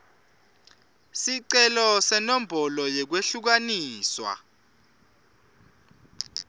sicelo senombolo yekwehlukaniswa